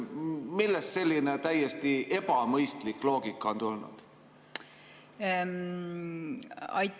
Millest selline täiesti ebamõistlik loogika on tulnud?